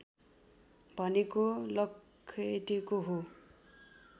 भनेको लखेटेको हो